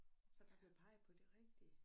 Så der blev peget på det rigtige